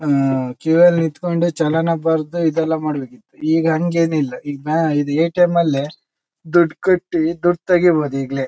ಹ್ಮ್ಮ್ಮ್ queue ಯಲ್ಲಿ ನಿತ್ಕೊಂಡು ಚಲನ ಬರ್ದಿ ಇದೆಲ್ಲ ಮಾಡ್ಬೇಕಿತ್ತು ಈಗ ಹಂಗೇನಿಲ್ಲ ಈಗ್ ನಾ ಎ ಟಿ ಎಮ್ ಅಲ್ಲೇ ದುಡ್ಡ್ ಕಟ್ಟಿ ದುಡ್ಡ್ ತಾಗಿಬಹುದು ಈಗ್ಲೇ.